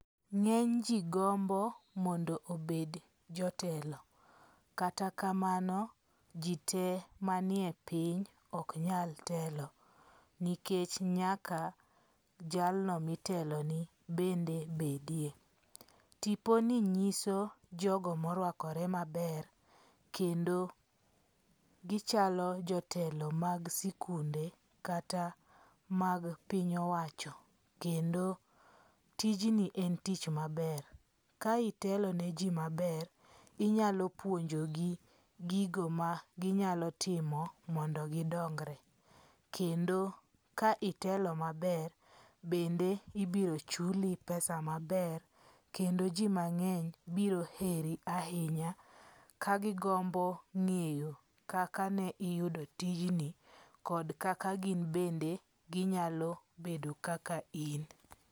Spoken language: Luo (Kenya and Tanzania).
Ng'eny ji gombo mondo obed jotelo, kata kamano ji te manie piny ok nyal telo. Nikech nyaka jalno mitelone bende bedie. Tipo ni nyiso jogo morwakore maber kendo gichalo jotelo mag sikunde kata mag piny owacho. Kendo tijni en tich maber, ka itelone ji maber, inyalo puonjogi gigo ma ginyalo timo mondo gidongre. Kendo ka itelo maber bende ibiro chuli pesa maber kendo ji mang'eny biro heri ahinya kagigombo ng'eyo kaka ne iyudo tijni kod kaka gin bende ginyalo bedo kaka in.